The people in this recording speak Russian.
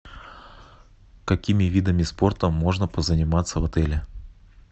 какими видами спорта можно позаниматься в отеле